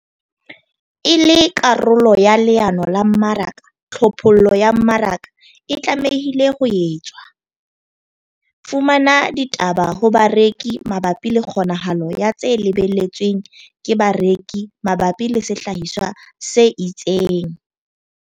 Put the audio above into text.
E le karolo ya leano la mmaraka, tlhophollo ya mmaraka e tlamehile ho etswa - fumana ditaba ho bareki mabapi le kgonahalo ya tse lebelletsweng ke bareki mabapi le sehlahiswa se itseng.